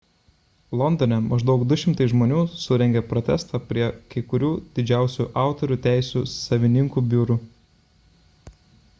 londone maždaug 200 žmonių surengė protestą prie kai kurių didžiausių autorių teisių savininkų biurų